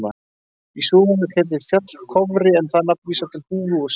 Í Súðavík heitir fjall Kofri en það nafn vísar til húfu úr skinni.